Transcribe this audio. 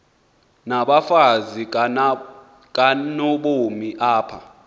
nabafazi kanobomi apha